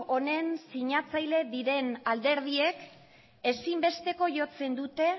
honen sinatzaile diren alderdiek ezinbesteko jotzen dute